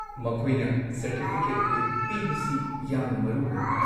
ꯃꯈꯣꯏꯅ ꯁꯔꯇꯤꯐꯤꯀꯦꯠ ꯑꯗꯨ ꯄꯤꯕꯁꯤ ꯌꯥꯝꯅ ꯃꯔꯨ ꯑꯣꯏ ꯫